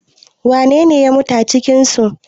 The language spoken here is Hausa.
wanene ya mutu a cikinsu?